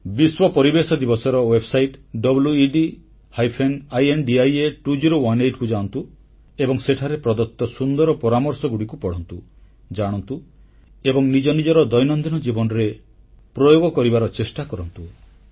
ବିଶ୍ୱ ପରିବେଶ ଦିବସର ୱେବସାଇଟ wedindia2018 କୁ ଯାଆନ୍ତୁ ଏବଂ ସେଠାରେ ପ୍ରଦତ୍ତ ସୁନ୍ଦର ପରାମର୍ଶଗୁଡ଼ିକୁ ପଢ଼ନ୍ତୁ ଜାଣନ୍ତୁ ଏବଂ ନିଜ ନିଜର ଦୈନନ୍ଦିନ ଜୀବନରେ ପ୍ରୟୋଗ କରିବାର ଚେଷ୍ଟା କରନ୍ତୁ